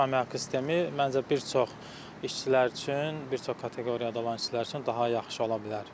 Saatlıq əmək haqqı sistemi məncə bir çox işçilər üçün, bir çox kateqoriyada olan işçilər üçün daha yaxşı ola bilər.